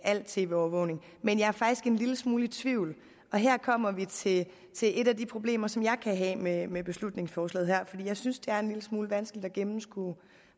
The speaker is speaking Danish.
al tv overvågning men jeg er faktisk en lille smule i tvivl her kommer vi til et af de problemer som jeg kan have med beslutningsforslaget her for jeg synes det er en lille smule vanskeligt at gennemskue